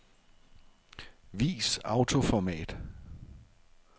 Vis autoformat.